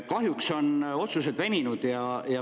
Kahjuks on otsused veninud.